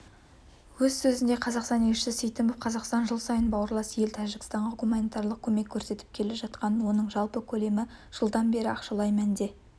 өз сөзінде қазақстан елшісі сейтімов қазақстан жыл сайын бауырлас ел тәжікстанға гуманитарлық көмек көрсетіп келе жатқанын оның жалпы көлемі жылдан бері ақшалай мәнде